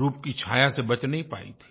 रूप की छाया से बच नहीं पाई थी